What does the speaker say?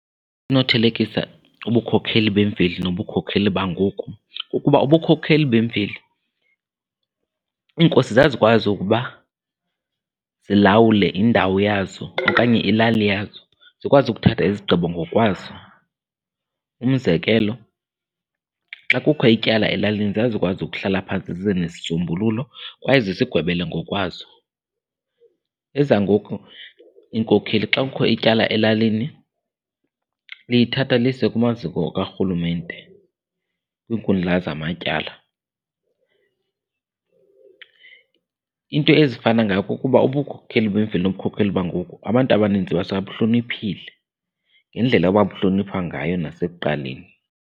Sinothelekisa ubukhokheli bemveli nobukhokheli bangoku, kukuba ubukhokhela bemveli iinkosi zazikwazi ukuba zilawule indawo yazo okanye ilali yazo, zikwazi ukuthatha izigqibo ngokwazo. Umzekelo, xa kukho ityala elalini zazikwazi ukuhlala phantsi zize nesisombululo kwaye zizigwebele ngokwazo. Ezangoku iinkokheli xa kukho ityala elalini liyithatha liyise kumaziko karhulumente, kwinkundla zamatyala. Iinto ezifana ngayo kukuba ubukhokheli bemveli nobukhokheli bangoku abantu abaninzi basabuhloniphile ngendlela ebabuhloniphwa ngayo nasekuqaleni.